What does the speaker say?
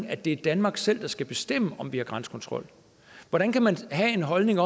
at det er danmark selv der skal bestemme om vi har grænsekontrol hvordan kan man have den holdning